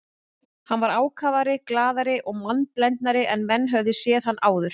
Hann var ákafari, glaðari og mannblendnari en menn höfðu séð hann áður.